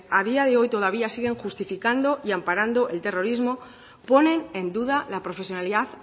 a día de hoy todavía siguen justificando y amparando el terrorismo ponen en duda la profesionalidad